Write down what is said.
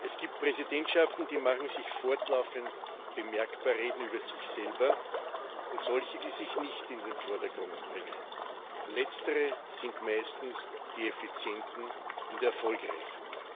Es gibt Präsidentschaften, die machen sich fortlaufend bemerkbar, reden über sich selber, und solche, die sich nicht in den Vordergrund drängen. Letztere sind meistens die effizienten und erfolgreichen.